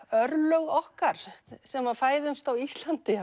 örlög okkar sem fæðumst á Íslandi